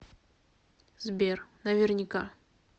сбер наверняка